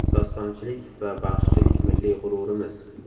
Dostonchilik va baxshichilik milliy g‘ururimiz.